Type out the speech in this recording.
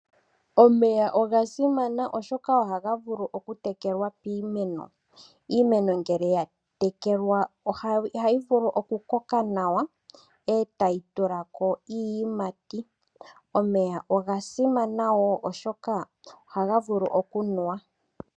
Omeya oga simana oshoka ohaga vulu okutekelwa piimeno iimeno ngele ya tekelwa ohayi vulu okumena nawa etayi tula ko iiyimati .Omeya oga simana wo oshoka ohaga vulu okunuwa.